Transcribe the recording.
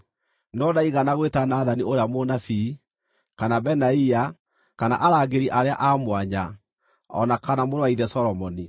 no ndaigana gwĩta Nathani ũrĩa mũnabii, kana Benaia, kana arangĩri arĩa a mwanya, o na kana mũrũ wa ithe Solomoni.